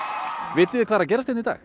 vitið þið hvað er að gerast hérna í dag